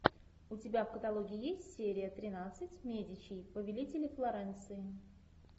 у тебя в каталоге есть серия тринадцать медичи повелители флоренции